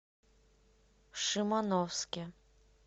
шимановске